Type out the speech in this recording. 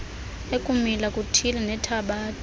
ekumila kuthile nethabatha